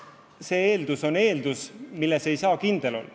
Paraku on see eeldus, milles ei saa kindel olla.